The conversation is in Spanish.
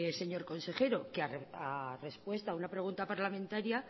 señor consejero que a respuesta a una pregunta parlamentaria